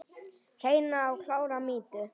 Hreina og klára mýtu?